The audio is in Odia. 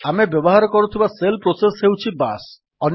ଆମେ ବ୍ୟବହାର କରୁଥିବା ଶେଲ୍ ପ୍ରୋସେସ୍ ହେଉଛି ବାଶ୍